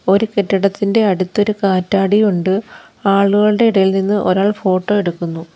ഒരു കെട്ടിടത്തിൻ്റെ അടുത്തൊരു കാറ്റാടിയുണ്ട് ആളുകളുടെ ഇടയിൽ നിന്ന് ഒരാൾ ഫോട്ടോ എടുക്കുന്നു.